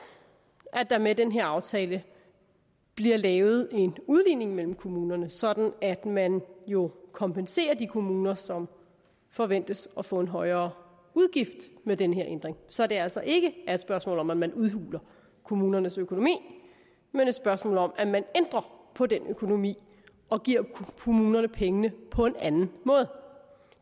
at der med den her aftale bliver lavet en udligning mellem kommunerne sådan at man jo kompenserer de kommuner som forventes at få en højere udgift med den her ændring så det altså ikke er et spørgsmål om at man udhuler kommunernes økonomi men et spørgsmål om at man ændrer på den økonomi og giver kommunerne pengene på en anden måde